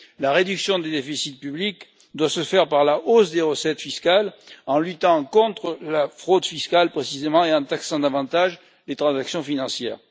La réduction du déficit public doit se faire par la hausse des recettes fiscales en luttant contre la fraude fiscale, précisément, et en taxant davantage les transactions financières.